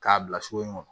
K'a bila su in kɔnɔ